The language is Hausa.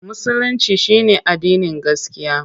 Musulinci shi ne addinin gaskiya.